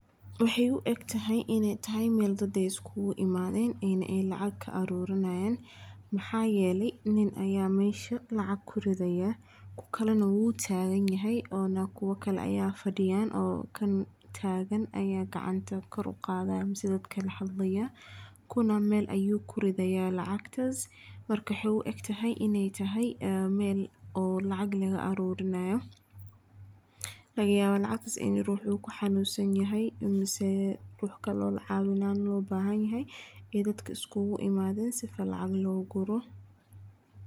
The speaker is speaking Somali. Waxee u egtahay meel dadka iskugu imadhen ena lacag ka arurinayan maxaa yele nin aya mesha lacag kuridhaya kukalana wu tagan yahay kuwa kale aya fadiyan kuwa tagan aya gacanta kor u qadhayan kuna meel ayu kuridhaya lacagtas in ee tahay meel lacag laga arurinayo laga yawa lacagtas in rux kaxanun sanahay mase rux kalo lacawinayo ee dadka iskugu imadhen sifa lacag logu guro.